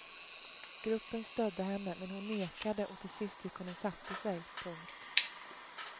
Gruppen stödde henne men hon nekade och till sist gick hon och satte sig. punkt